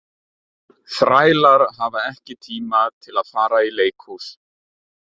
Þrælar hafa ekki tíma til að fara í leikhús.